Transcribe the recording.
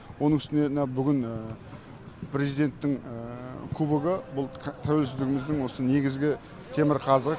оның үстіне мына бүгін президенттің кубогі тәуелсіздігіміздің осы негізгі темірқазығы